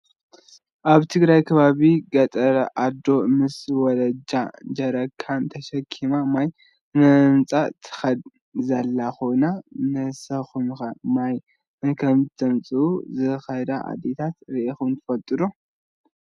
ኣብ ትግራይ ከባቢ ገጠረ ኣዶ ምስ ውላዳ ጀሪካን ተሰኪማ ማይ ንምምፃእ ትከድ ዘለ ኮይና፣ ንስኩም'ከ ማይ ንከምፅኣ ዝከዳ ኣዴታት ሪኢኩም ዶ ትፈልጡ?